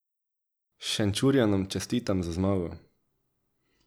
Šenčurjanom čestitam za zmago.